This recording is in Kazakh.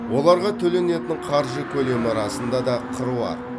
оларға төленетін қаржы көлемі расында да қыруар